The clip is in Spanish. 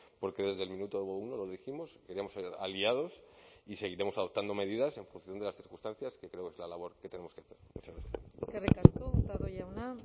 porque desde el minuto uno lo dijimos queríamos aliados y seguiremos adoptando medidas en función de las circunstancias que creo que es la labor que tenemos que hacer muchas gracias eskerrik asko hurtado jauna